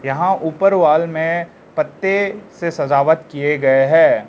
यहां ऊपर वाल में पत्ते से सजावट किए गए हैं।